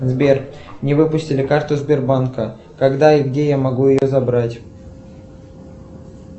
сбер мне выпустили карту сбербанка когда и где я могу ее забрать